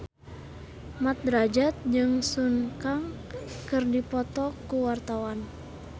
Mat Drajat jeung Sun Kang keur dipoto ku wartawan